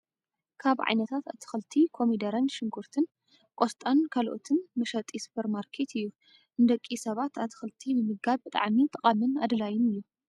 ካብ ዓይነታት ኣትክልቲ ኮሚደሬን ሽጉርት፣ ቆስጣን ካልኦትን መሸጢ ስፐርማርኬት እዩ ። ንደቂ ሰባት ኣትክልቲ ምምጋብ ብጣዕሚ ጠቃሚን ኣድላይን እዩ ።